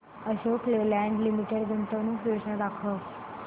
Ashok Leyland limited गुंतवणूक योजना दाखव